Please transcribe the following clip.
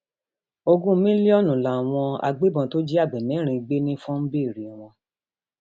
ogún mílíọnù làwọn agbébọn tó jí àgbẹ mẹrin gbé nifọn ń béèrèwọn